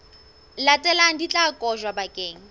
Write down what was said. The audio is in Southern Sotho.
latelang di tla kotjwa bakeng